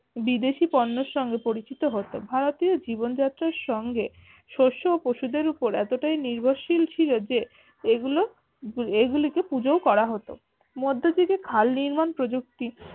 বিদেশী পণ্যের সঙ্গে পরিচিত হতো ভারতীয় জীবন যাত্রার সঙ্গে শস্য ও পশুদের উপর এতটাই নির্ভরশীল ছিল যে এগুলো এগুলো কে পূজোও করা হতো মধ্যযুগে খাল নির্মাণ প্রযুক্তি